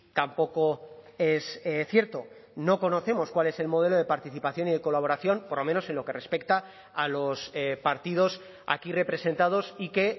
tampoco es cierto no conocemos cuál es el modelo de participación y de colaboración por lo menos en lo que respecta a los partidos aquí representados y que